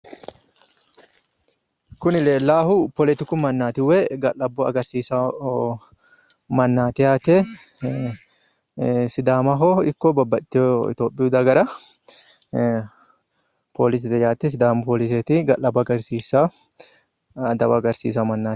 Kuni leellannohu poletiku mannaati woyi ga'labbo agarsiisanno mannaati yaate sidaamaho ikko babbaxxitewo itiopiyu dagara ga'labbo woyi adawa agarsiisanno mannaati